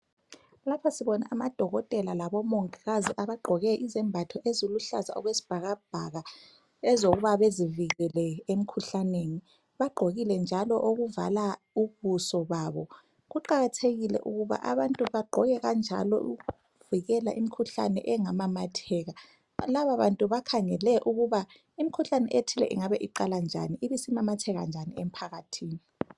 Lapha sibona amadokotela labomongikazi abagqoke izembatho eziluhlaza okwesibhakabhaka, ezokuba bezivikele emkhuhlaneni. Bagqokile njalo okuvala ubuso babo. Kuqakathekile njalo ukuthi abantu bagqoke njalo, ukuvikela imikhuhlane engamamatheka. Lababantu bakhangele ukuba imikhuhlane enjalo, iqala njanii, ibisimamatheka njani emphakathini?